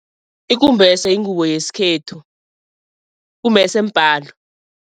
Ikumbese yingubo yesikhethu, kumbese mbhalo.